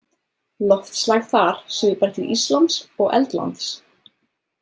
Loftslag þar svipar til Íslands og Eldlands.